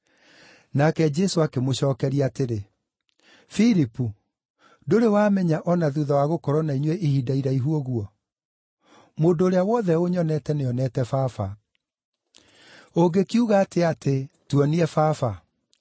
Nake Jesũ akĩmũcookeria atĩrĩ, “Filipu, ndũrĩ wamenya o na thuutha wa gũkorwo na inyuĩ ihinda iraihu ũguo? Mũndũ ũrĩa wothe ũnyonete nĩonete Baba. Ũngĩkiuga atĩa atĩ, ‘Tuonie Baba’?